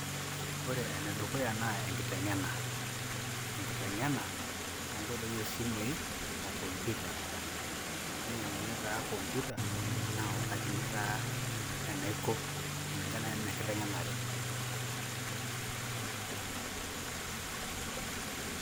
Ore enedukuya naa enkiteng'ena, enkiteng'ena oo nkoitoi o simui o computer. Ninyang'uni taa computer nautakini taa enaiko kulingana anaa enkiteng'enare.